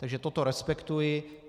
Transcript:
Takže toto respektuji.